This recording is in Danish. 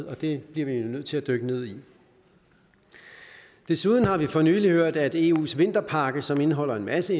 og det bliver vi nødt til at dykke ned i desuden har vi for nylig hørt at eus vinterpakke som indeholder en masse